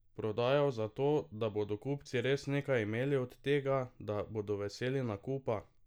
Prodajal zato, da bodo kupci res nekaj imeli od tega, da bodo veseli nakupa!